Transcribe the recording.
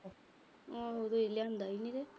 ਹਲੇ ਲਿਆਂਦਾ ਈ ਨੀ।